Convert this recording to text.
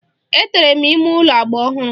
Etere m ime ụlọ agba ọhụrụ.